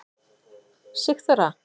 Sigþóra